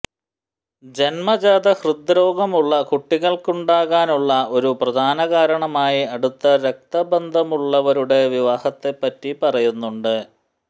ജന്മജാത ഹൃദ്രോഗമുള്ള കുട്ടികളുണ്ടാകാനുള്ള ഒരു പ്രധാനകാരണമായി അടുത്ത രക്തബന്ധമുള്ളവരുടെ വിവാഹത്തെപ്പറ്റി പറയുന്നുണ്ട്